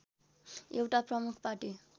एउटा प्रमुख पार्टी